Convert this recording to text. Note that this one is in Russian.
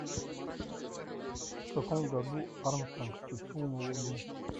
в каком году армстронг ступил на луну